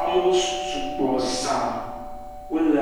Amewo sugbɔ za wole